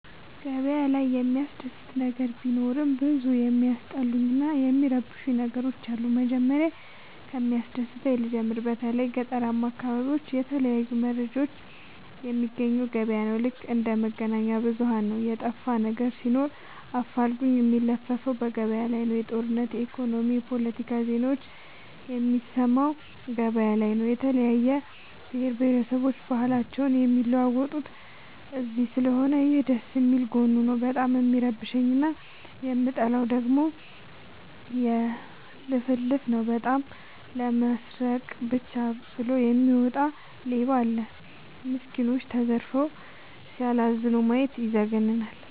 ገበያ ላይ የሚያስደስ ነገር ቢኖርም ብዙ የሚያስጠሉኝ እና የሚረብሸኝ ነገሮች አሉ። መጀመሪያ ከሚያስደስተኝ ልጀምር በተለይ ገጠራማ አካቢዎች የተለያየ መረጃ የሚያገኘው ገበያ ነው። ልክ እንደ መገናኛብዙኋን ነው የጠፋነገር ሲኖር አፋልጉኝ የሚለፍፈው ገበያላይ ነው። የጦርነት የኢኮኖሚ የፓለቲካ ዜናዎችን የሚሰማው ገበያ ላይ ነው። የተለያየ ብሆረሰቦች ባህልአቸውን የሚለዋወጡት እዚስለሆነ ይህ ደስየሚል ጎኑ ነው። በጣም የሚረብሸኝ እና የምጠላው ደግሞ ልፍልፍ ነው። በጣም ለመስረቃ ብቻ ብሎ የሚወጣ ሌባም አለ። ሚስኩኖች ተዘርፈው ሲያላዝኑ ማየት ይዘገንናል።